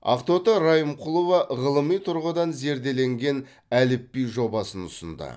ақтоты райымқұлова ғылыми тұрғыдан зерделенген әліпби жобасын ұсынды